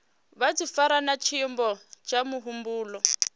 vhudifari na tshiimo tsha muhumbulo